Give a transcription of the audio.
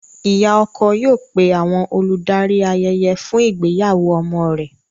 Ìyá ọkọ yóò pé àwọn olùdarí ayẹyẹ fún ìgbéyàwó ọmọ rẹ̀.